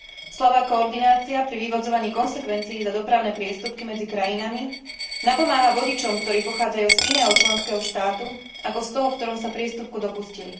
Slabá koordinácia pri vyvodzovaní konsekvencií za dopravné priestupky medzi krajinami napomáha vodičom, ktorí pochádzajú z iného členského štátu ako z toho, v ktorom sa priestupku dopustili.